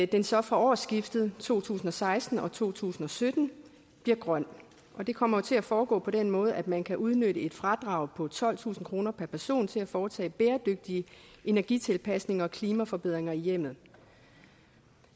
den så fra årsskiftet to tusind og seksten og to tusind og sytten bliver grøn det kommer til at foregå på den måde at man kan udnytte et fradrag på tolvtusind kroner per person til at foretage bæredygtige energitilpasninger og klimaforbedringer i hjemmet